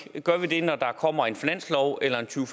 gør vi det når der kommer en finanslov eller en to